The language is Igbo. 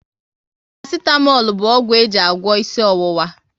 Parasitamol bụ ọgwụ e ji agwọ isi ọwụwa